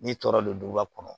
N'i tɔɔrɔ don duba kɔnɔ